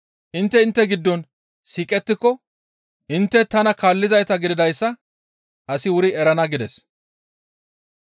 Intte intte giddon siiqettiko intte tana kaallizayta gididayssa asi wuri erana» gides.